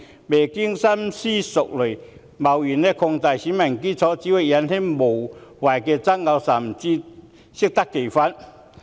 未經深思熟慮便貿然擴大選民基礎只會引起無謂的爭議，甚至適得其反。